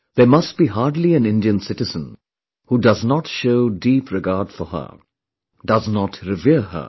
There must be hardly an Indian citizen who does not show deep regard for her, does not revere her